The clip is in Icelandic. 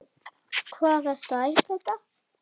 Hvað ertu að æpa þetta.